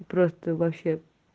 и просто вообще